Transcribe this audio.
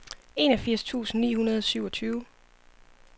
enogfirs tusind ni hundrede og syvogtyve